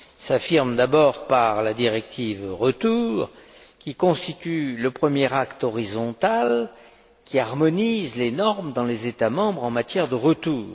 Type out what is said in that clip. Il s'affirme d'abord par la directive retour, qui constitue le premier acte horizontal qui harmonise les normes dans les États membres en matière de retour.